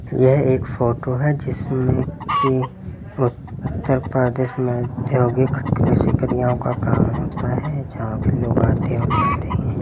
यह एक फोटो है जिसमें की उतर प्रदेश में उद्योगीक कृषि कन्याओ का काम होता है जहां पे लोग आतें हैं और जाते हैं।